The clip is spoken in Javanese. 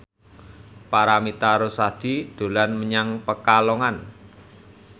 Paramitha Rusady dolan menyang Pekalongan